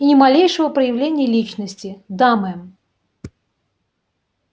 и ни малейшего проявления личности да мэм